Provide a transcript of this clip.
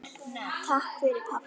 Takk fyrir pabbi.